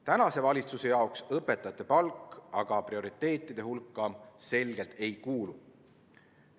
Tänase valitsuse prioriteetide hulka aga õpetajate palk selgelt ei kuulu.